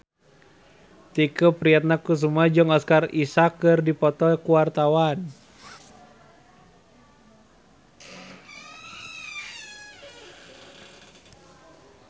Tike Priatnakusuma jeung Oscar Isaac keur dipoto ku wartawan